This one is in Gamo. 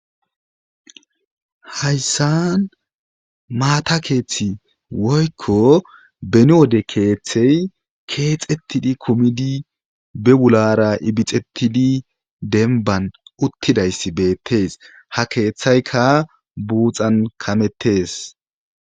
Haysasn mata keethi woykko beni wode keethi kexetti kumidi bewulara ibixetidi denban utidayssi betees ha kethaykka buthaka metees.